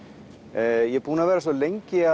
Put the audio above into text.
ég er búinn að vera svo lengi